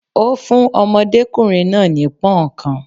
Ó fún ọmọdékùnrin náà ní Punnkan.